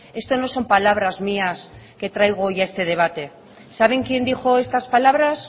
esto no son palabras mías que traigo hoy a este debate saben quién dijo estas palabras